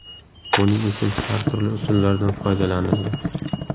Buning uchun har turli usullardan foydalanildi.